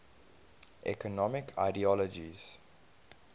economic ideologies